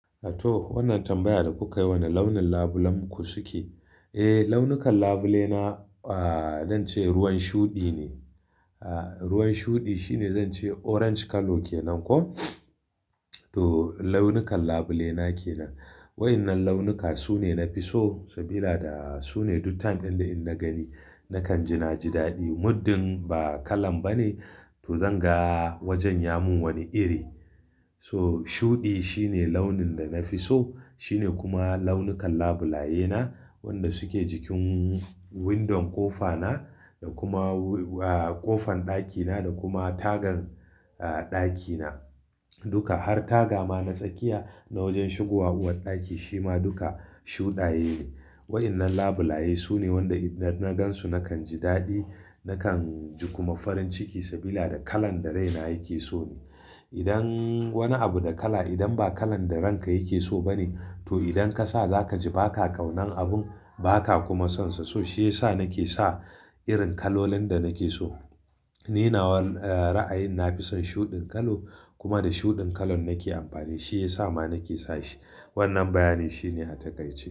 To, wannan tambaya da kuka yi, wane launin labulen ku suke? Eh, launukan labule na, ah, zan ce ruwan shuɗi ne. Ah, ruwan shuɗi shine zan ce orange color kenan ko. To, launukan labule na ke nan. Waɗannan launuka su ne na fi so saboda su ne duk time dinda in na gani, na kan ji na ji daɗi. Muddin ba kalan bane, to zan ga wajen ya mun wani iri. So, shuɗi shi ne launin da na fi so. Shi ne kuma launukan labulayena, waɗanda suke jikin window kofa na da kuma, ah, ƙofan ɗakina da kuma tagan, ah, ɗakina. Duka har taga ma na tsakiya na wajen shigowa uwarɗaki shi ma duka shuɗaye ne. Waɗannan labulaye su ne waɗanda idan na gansu na kan ji daɗi. Na kan ji kuma farin ciki saboda kalan da raina yake so ne. Idan wani abu da kala, idan ba kalan da ranka yake so ba ne, to idan ka sa za ka ji baka ƙaunan abun, ba ka kuma sonsa. So, shi ya sa na ke sa irin kalolan da na ke so. Ni nawa, ah, ra'ayin na fi son shuɗin kala kuma da shuɗin kalan na ke amfani. Shi ya sa ma nake sa shi. Wannan bayani shi ne a takaice.